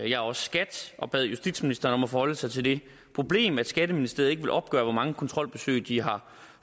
jeg også skat og bad justisministeren om at forholde sig til det problem at skatteministeriet ikke ville opgøre hvor mange kontrolbesøg de har